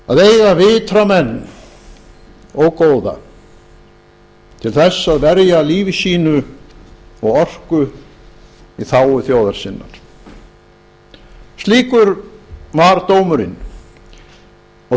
að eiga vitra menn og góða til þess að verja lífi sínu og orku í þágu þjóðar sinnar slíkur var dómurinn og